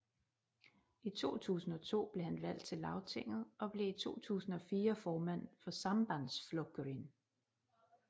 I 2002 blev han valgt til Lagtinget og blev 2004 formand for Sambandsflokurin